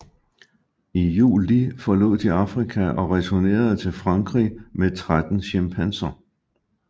I juli forlod de Afrika og returnerede til Frankrig med 13 chimpanser